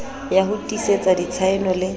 ya ho tiisetsa ditshaeno le